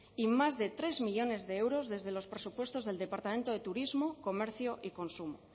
y más de tres millónes de euros desde los presupuestos del departamento de turismo comercio y consumo